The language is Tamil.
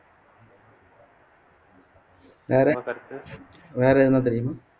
வேற வேற எதுனா தெரியுமா